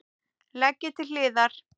Leggið til hliðar.